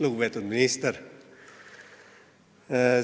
Lugupeetud minister!